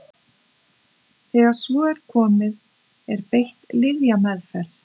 þegar svo er komið er beitt lyfjameðferð